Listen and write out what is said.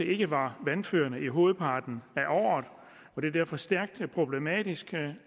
ikke var vandførende i hovedparten af året det er derfor stærkt problematisk